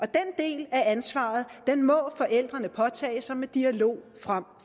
del af ansvaret må forældrene påtage sig med dialog frem